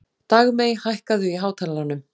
Dagmey, hækkaðu í hátalaranum.